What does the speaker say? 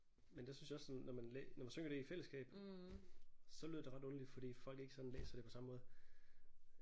Men der synes jeg også sådan når man når man synger det i fællesskab så lyder det ret underligt fordi folk ikke sådan læser det på samme måde